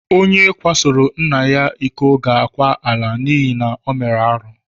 Onye kwasoro nna ya ịkọ ga akwa ala n'ihi na o mere arụ.